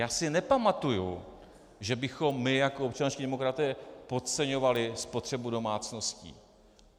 Já si nepamatuji, že bychom my jako občanští demokraté podceňovali spotřebu domácností.